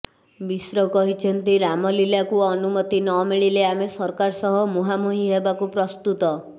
ମିଶ୍ର କହିଛନ୍ତି ରାମଲୀଲାକୁ ଅନୁମତି ନମିଳିଲେ ଆମେ ସରକାର ସହ ମୁହାଁମୁହିଁ ହେବାକୁ ପ୍ରସ୍ତୁତ